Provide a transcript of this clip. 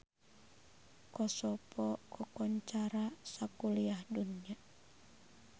Kosovo kakoncara sakuliah dunya